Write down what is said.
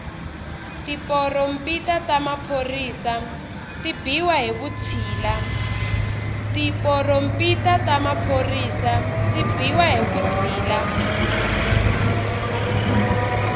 tiporompita ta maphorisa ti biwa hi vutshila